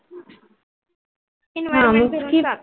हा मी पण केला.